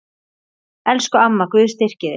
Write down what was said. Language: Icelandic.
Elsku amma, Guð styrki þig.